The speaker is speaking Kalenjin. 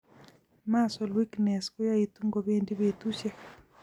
Muscle weakness koyaitu ngobendi betusiek